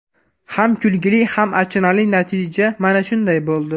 Ham kulguli, ham achinarli natija mana shunday bo‘ldi.